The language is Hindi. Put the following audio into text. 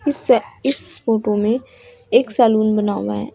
इसे इस फोटो में एक सलून बना हुआ है।